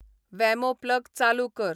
वॅमो plug चालू कर